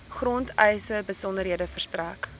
grondeise besonderhede verstrek